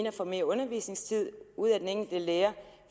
at få mere undervisningstid ud af den enkelte lærer